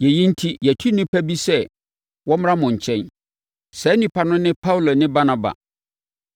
Yei enti, yɛatu nnipa bi sɛ wɔmmra mo nkyɛn. Saa nnipa no ne Paulo ne Barnaba